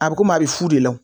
A bi komi a bi fu de la